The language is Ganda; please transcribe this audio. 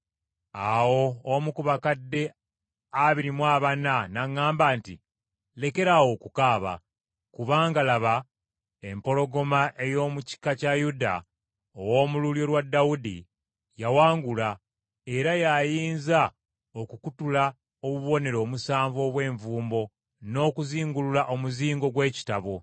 Awo omu ku bakadde abiri mu abana n’aŋŋamba nti, “Lekeraawo okukaaba, kubanga, laba, empologoma ey’omu kika kya Yuda, ow’omu lulyo lwa Dawudi, yawangula, era y’ayinza okukutula obubonero omusanvu obw’envumbo n’okuzingulula omuzingo gw’ekitabo.”